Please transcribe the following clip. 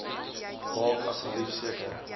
maak asseblief seker